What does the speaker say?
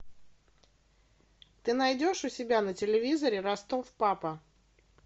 ты найдешь у себя на телевизоре ростов папа